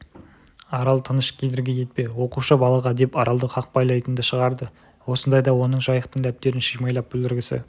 арал тыныш кедергі етпе оқушы балаға деп аралды қақпайлайтынды шығарды осындайда оның жайықтың дәптерін шимайлап бүлдіргісі